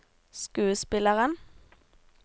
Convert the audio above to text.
skuespilleren